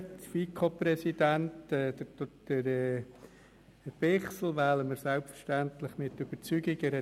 Den FiKo-Präsidenten Bichsel wählen wir selbstverständlich mit Überzeugung.